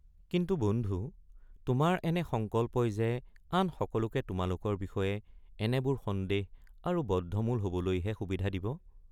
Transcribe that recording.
কিন্তু বন্ধু তোমাৰ এনে সংকল্পই যে আন সকলোকে তোমালোকৰ বিষয়ে এনেবোৰ সন্দেহ আৰু বদ্ধমূল হবলৈহে সুবিধা দিব?